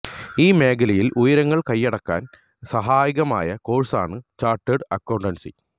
ഈ മേഖലയില് ഉയരങ്ങള് കയ്യടക്കാന് സഹായകമായ കോഴ്സാണ് ചാര്ട്ടേഡ് അക്കൌണ്ടന്സി